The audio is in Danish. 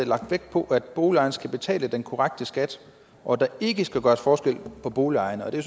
lagt vægt på at boligejerne skal betale den korrekte skat og der ikke skal gøres forskel på boligejerne og det